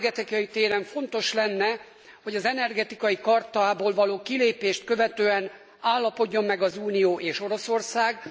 Energetikai téren fontos lenne, hogy az Energetikai Chartából való kilépést követően állapodjon meg az Unió és Oroszország.